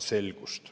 Aitäh!